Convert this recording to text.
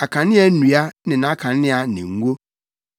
akanea nnua ne nʼakanea ne ngo;